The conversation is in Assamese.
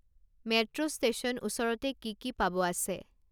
মেট্ৰো ষ্টেশ্যন ওচৰতে কি কি পাব আছে